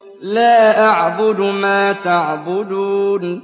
لَا أَعْبُدُ مَا تَعْبُدُونَ